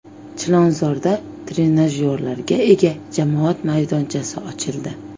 Chilonzorda trenajyorlarga ega jamoat bolalar maydonchasi ochildi.